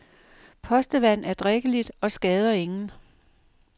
Postevand er drikkeligt og skader ingen.